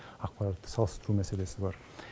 ақпаратты салыстыру мәселесі бар